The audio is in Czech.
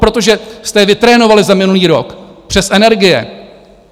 Protože jste je vytrénovali za minulý rok přes energie.